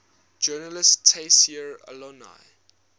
journalist tayseer allouni